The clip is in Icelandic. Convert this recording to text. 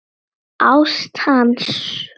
Ást hans.